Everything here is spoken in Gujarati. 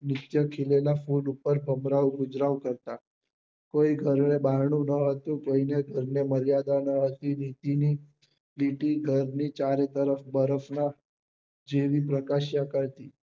નીછ્ય ખીલેલા ફૂલ પર ભમરાઓ ગુજરાન કરતા કોઈ ઘન નું બારણું ના હતું કોઈ ના ઘર ને મર્યાદા નાં હતી ચારે તરફ બરફ નાં જેવી પ્રકાશ્ય હતી